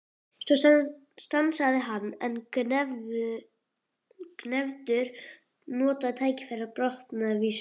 Svo stansaði hann en Gvendur notaði tækifærið og botnaði vísuna: